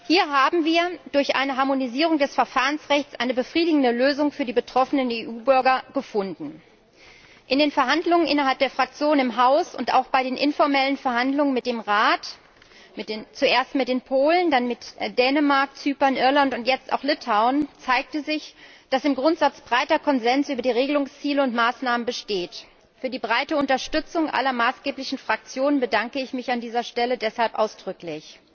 Hier haben wir durch eine Harmonisierung des Verfahrensrechts eine befriedigende Lösung für die betroffenen EU Bürger gefunden. In den Verhandlungen innerhalb der Fraktion im Haus und auch bei den informellen Verhandlungen mit dem Rat zuerst mit den Polen, dann mit Dänemark, Zypern, Irland und jetzt auch mit Litauen zeigte sich, dass im Grundsatz breiter Konsens über die Regelungsziele und maßnahmen besteht. Für die breite Unterstützung aller maßgeblichen Fraktionen bedanke ich mich an dieser Stelle deshalb ausdrücklich.